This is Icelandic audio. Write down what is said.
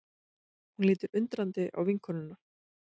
Hún lítur undrandi á vinkonuna.